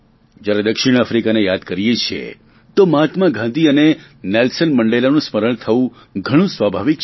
જ્યારે દક્ષિણ આફ્રીકાને યાદ કરીએ છીએ તો મહાત્મા ગાંધી અને નેલ્સન મંડેલાનું સ્મરણ થવું ઘણું સ્વાભાવિક છે